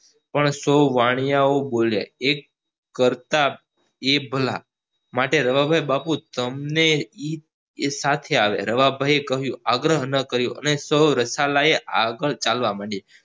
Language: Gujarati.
પણ સો વાણિયાઓ બોલ્યા એક કરતા બે ભલા માટે રવા ભાઈ બાપુ તમને એ સાથે આવ્યા રવા ભાઈ એ કહ્યું આગ્રહ નો કર્યો અને સો આગળ ચાલવા મંડીયા